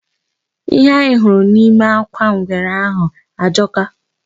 Ihe anyị hụrụ nime akwa ngwere ahụ ajọka.